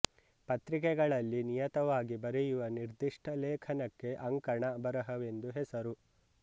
ಪತ್ರಿಕೆಗಳಲ್ಲಿ ನಿಯತವಾಗಿ ಬರೆಯುವ ನಿರ್ದಿಷ್ಟ ಲೇಖನಕ್ಕೆ ಅಂಕಣ ಬರೆಹವೆಂದು ಹೆಸರು